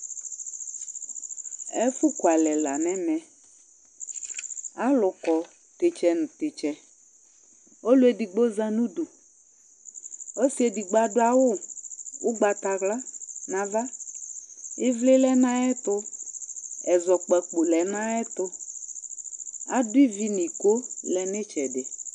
ɛfu kualɛ la nɛmɛ , alu kɔ titsɛ nu titsɛ , ɔlu edigbo za nudu, ɔsi edigbo adu awu ugbata wla nu ava, ivli lɛ nu ayɛtu, ɛzɔkpako lɛ nu ayɛtu, adu ivi nu iko lɛ nu itsɛdi